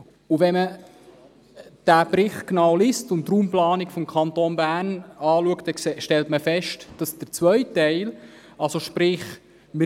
Wenn man diesen Bericht genau liest und die Raumplanung des Kantons Bern anschaut, stellt man fest, dass der zweite Teil durchaus behandelt wird.